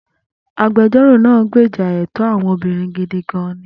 Agbẹjọ́rò náà gbèjà ẹ̀tọ́ àwọn obìnrin gidi gan-an.